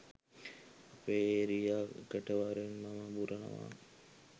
අපේ ඒරියා එකට වරෙන් මම බුරනවා